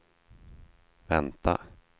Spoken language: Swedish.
vänta